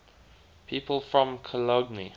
people from cologne